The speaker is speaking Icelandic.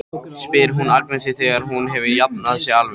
spyr hún Agnesi þegar hún hefur jafnað sig alveg.